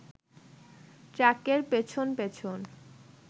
ট্রাকের পেছন পেছন